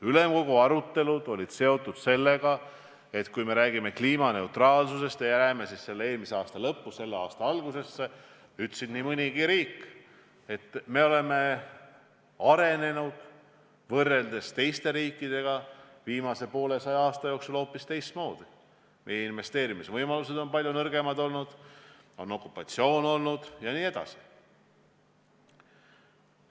Ülemkogu arutelud olid seotud sellega, et kliimaneutraalsusest rääkides – läheme eelmise aasta lõppu ja selle aasta algusesse – ütles nii mõnigi riik, et võrreldes teiste riikidega oleme me viimase poolesaja aasta jooksul arenenud hoopis teistmoodi, meie investeerimisvõimalused on olnud palju nõrgemad, okupatsioon on olnud jne.